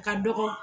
A ka dɔgɔ